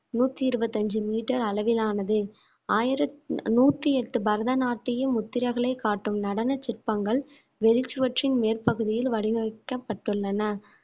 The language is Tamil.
நூத்தி இருபத்தி அஞ்சு metre அளவிலானது ஆயிரத்~ நூத்தி எட்டு பரதநாட்டியம் முத்திரர்களைக் காட்டும் நடன சிற்பங்கள் வெளிச் சுவற்றின் மேற்பகுதியில் வடிவமைக்கப்பட்டுள்ளன